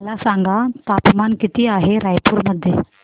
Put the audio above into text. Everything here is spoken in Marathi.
मला सांगा तापमान किती आहे रायपूर मध्ये